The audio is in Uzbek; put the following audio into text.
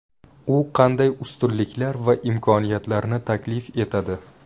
U qanday ustunliklar va imkoniyatlarni taklif etadi?